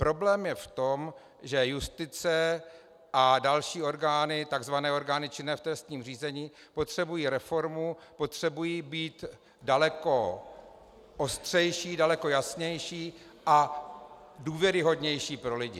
Problém je v tom, že justice a další orgány, tzv. orgány činné v trestním řízení, potřebují reformu, potřebují být daleko ostřejší, daleko jasnější a důvěryhodnější pro lidi.